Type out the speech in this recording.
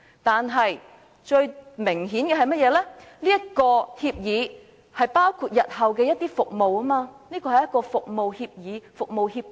但最明顯的是，這份協議包括了日後的一些服務，這是一份服務協議。